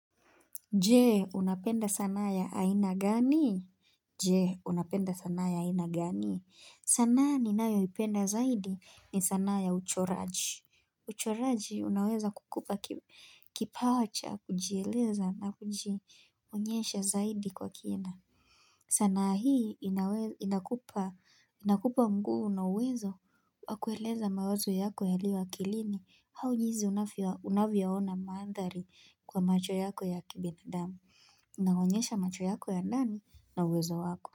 Je, unapenda sanaa ya aina gani? Je, unapenda sana ya aina gani? Sanaa ninayoipenda zaidi ni sanaa ya uchoraji. Uchoraji unaweza kukupa kipawa cha, kujieleza na kujionyesha zaidi kwa kina. Sanaa hii inakupa nguvu na uwezo wa kueleza mawazo yako yaliyo akilini. Au jinsi unavyoona mandhari kwa macho yako ya kibinadamu, inaonyesha macho yako ya ndani na uwezo wako.